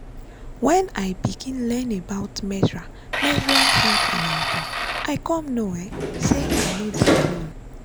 when i begin learn about menstrual menstrual health and hygiene i come know um say i no dey alone.